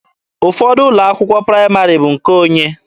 Ụfọdụ ụlọ akwụkwọ praịmarị bụ nke onye.